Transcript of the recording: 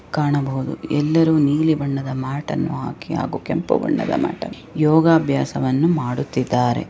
ಕಾಣಬಹುದು ಎಲ್ಲರು ನೀಲಿ ಬಣ್ಣದ ಮ್ಯಾಟ್ ಅನ್ನು ಹಾಕಿ ಹಾಗು ಕೆಂಪು ಬಣ್ಣದ ಮ್ಯಾಟ್ ಅನ್ನು ಹಾಕಿ ಯೋಗಾಭ್ಯಾಸವನ್ನ ಮಾಡುತ್ತಿದ್ದಾರೆ